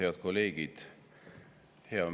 Head kolleegid!